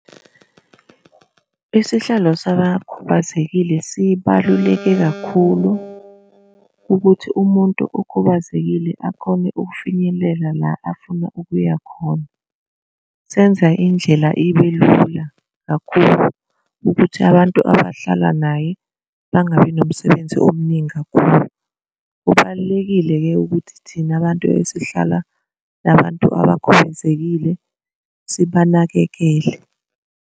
Isihlalo sabakhubazekile sibaluleke kakhulu ukuthi umuntu okhubazekile akhona ukufinyelela la afuna ukuya khona. Senze indlela ibe lula kakhulu ukuthi abantu abahlala naye bangabi nomsebenzi omningi kakhulu. Kubalulekile-ke ukuthi thina abantu esihlala nabantu abakhubazekile sibanakekele.